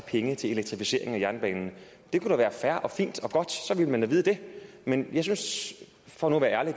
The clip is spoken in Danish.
penge til elektrificeringen af jernbanen det kunne da være fair og fint og godt så ville man da vide det men jeg synes for nu at være ærlig at